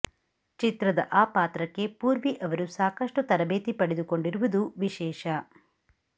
ಚಿತ್ರದ ಆ ಪಾತ್ರಕ್ಕೆ ಪೂರ್ವಿ ಅವರು ಸಾಕಷ್ಟು ತರಬೇತಿ ಪಡೆದುಕೊಂಡಿರುವುದು ವಿಶೇಷ